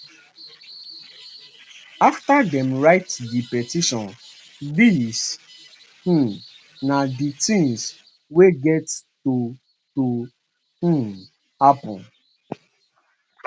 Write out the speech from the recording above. afta dem write di petition dis um na di tins wey get to to um happun